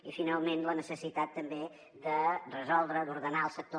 i finalment la necessitat també de resoldre d’ordenar el sector